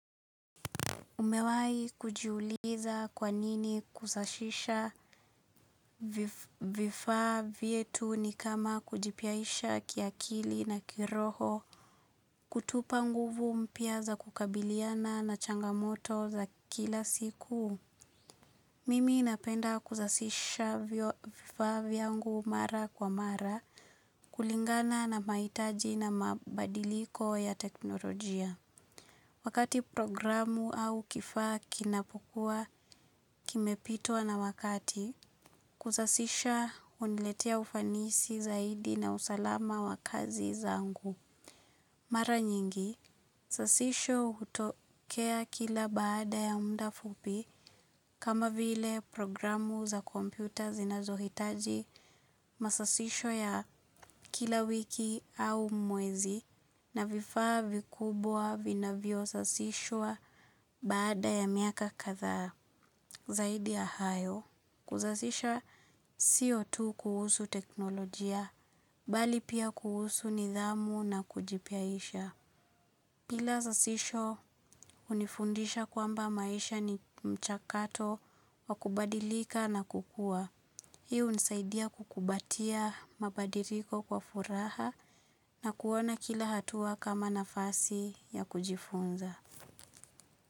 Umewahi kujiuliza kwanini kusashisha vifaa vyetu ni kama kujipiaisha kiakili na kiroho kutupa nguvu mpya za kukabiliana na changamoto za kila siku. Mimi napenda kusashisha vifaa vyangu mara kwa mara kulingana na mahitaji na mabadiliko ya teknolojia. Wakati programu au kifaa kinapukua kimepitwa na wakati, kusasisha huniletea ufanisi zaidi na usalama wa kazi zangu. Mara nyingi, sasisho hutokea kila baada ya muda fupi kama vile programu za kompyuta zinazohitaji masasisho ya kila wiki au mwezi na vifaa vikubwa vinavyo sasishwa baada ya miaka kadhaa zaidi ya hayo. Kusasisha siyo tu kuhusu teknolojia, bali pia kuhusu nidhamu na kujipiaisha. Bila sasisho hunifundisha kwamba maisha ni mchakato wa kubadilika na kukua. Hi hunisaidia kukumbatia mabadiliko kwa furaha na kuona kila hatua kama nafasi ya kujifunza.